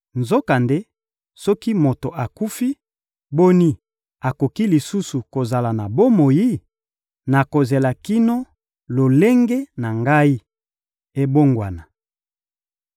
Nzokande, soki moto akufi, boni, akoki lisusu kozala na bomoi? Nakozela kino lolenge na ngai ebongwana.